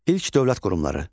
İlk dövlət qurumları.